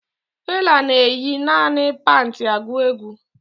Fela na-eyi naanị pantị agụ egwu